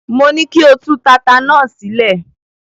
Mo ní kí o tú tata náà sílẹ̀.